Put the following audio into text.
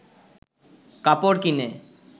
কাপড় কিনে